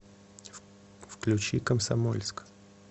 включи комсомольск